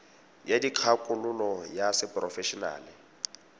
ya dikgakololo ya seporofe enale